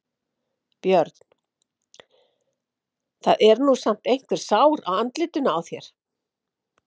Björn: Það er nú samt einhver sár á andlitinu á þér?